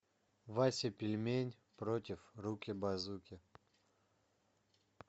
вася пельмень против руки базуки